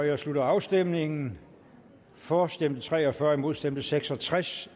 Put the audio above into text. jeg slutter afstemningen for stemte tre og fyrre imod stemte seks og tres